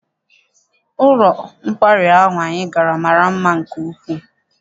Ụlọ nkwari ahụ anyị gara mara mma nke ukwuu.